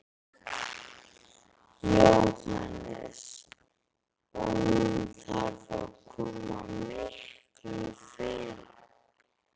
Jóhannes: Og hún þarf að koma miklu fyrr?